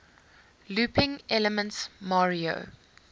looping elements mario